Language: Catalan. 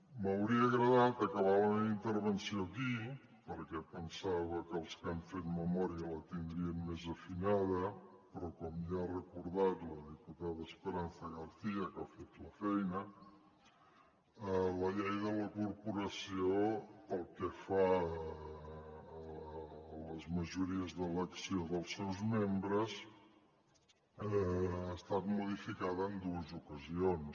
m’hauria agradat acabar la meva intervenció aquí perquè pensava que els que han fet memòria la tindrien més afinada però com ja ha recordat la diputada esperanza garcía que ha fet la feina la llei de la corporació pel que fa a les majories d’elecció dels seus membres ha estat modificada en dues ocasions